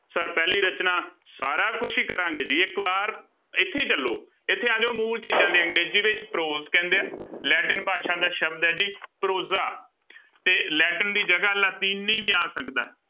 Sir ਪਹਿਲੀ ਰਚਨਾ ਸਾਰਾ ਕੁਛ ਹੀ ਕਰਾਂਗੇ ਜੀ ਇੱਕ ਵਾਰ ਇੱਥੇ ਹੀ ਚੱਲੋ, ਇੱਥੇ ਆ ਜਾਓ ਮੂਲ ਚੀਜ਼ਾਂ ਦੀ ਅੰਗਰੇਜ਼ੀ ਵਿੱਚ prose ਕਹਿੰਦੇ ਆ, ਲੈਟਿਨ ਭਾਸ਼ਾ ਦਾ ਸ਼ਬਦ ਹੈ ਜੀ prose ਤੇ ਲੈਟਿਨ ਦੀ ਜਗ੍ਹਾ ਲਾਤੀਨੀ ਵੀ ਆ ਸਕਦਾ।